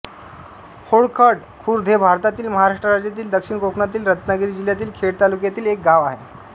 होडखड खुर्द हे भारतातील महाराष्ट्र राज्यातील दक्षिण कोकणातील रत्नागिरी जिल्ह्यातील खेड तालुक्यातील एक गाव आहे